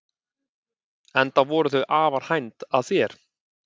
Enda voru þau afar hænd að þér.